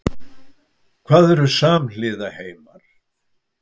Hvað eru samhliða heimar?